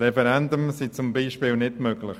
Ein Referendum ist beispielsweise nicht möglich.